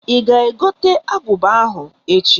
I ga egote aguba ahụ echi?